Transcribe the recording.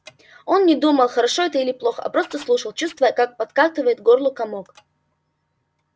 он не думал хорошо это или плохо а просто слушал чувствуя как подкатывает к горлу комок